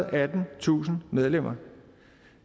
og attentusind medlemmer